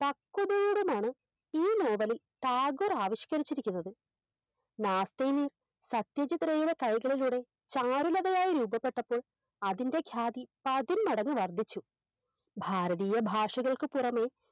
പക്വതയോടുമാണ് ഈ നോവലിൽ ടാഗോർ ആവിഷ്‌കരിച്ചിരിക്കുന്നത് സത്യചിത്രയുടെ കൈകളിലൂടെ ചാരുലതയായി രൂപപ്പെട്ടപ്പോൾ അതിൻറെ ഗ്യാദി പതിന്മടങ്ങ് വർദ്ധിച്ചു ഭാരതീയ ഭാഷകൾക്ക് പുറമെ